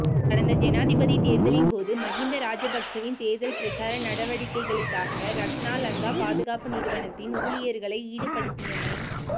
கடந்த ஜனாதிபதி தேர்தலின் போது மஹிந்த ராஜபக்சவின் தேர்தல் பிரச்சார நடவடிக்கைகளுக்காக ரக்னா லங்கா பாதுகாப்பு நிறுவனத்தின் ஊழியர்களை ஈடுபடுத்தியமை